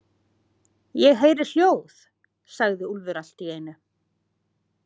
Ég heyri hljóð, sagði Úlfur allt í einu.